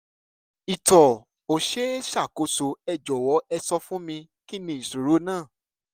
ìtọ̀ ò ṣe é ṣàkóso ẹ jọ̀wọ́ ẹ sọ fún mi kí ni ìṣòro náà?